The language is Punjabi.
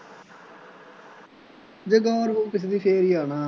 ਜਦੋਂ ਹੈ ਨਾ